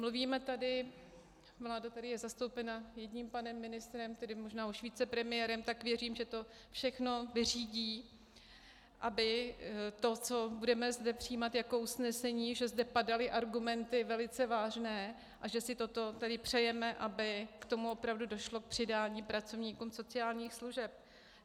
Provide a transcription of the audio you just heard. Mluvíme tady, vláda tady je zastoupena jedním panem ministrem, tedy možná už vicepremiérem, tak věřím, že to všechno vyřídí, aby to, co budeme zde přijímat jako usnesení, že zde padaly argumenty velice vážné a že si toto tedy přejeme, aby k tomu opravdu došlo, k přidání pracovníkům sociálních služeb.